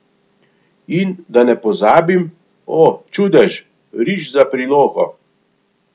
In, da ne pozabim, o, čudež, riž za prilogo.